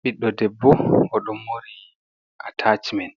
Biɗdo ɗebbo oɗon mori atacemen.